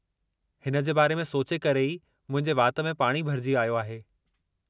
हिन जे बारे में सोचे करे ई मुंहिंजे वात में पाणी भरिजी आयो आहे।